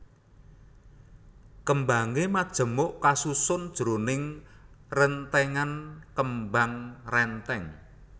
Kembangé majemuk kasusun jroning rèntèngan kembang rèntèng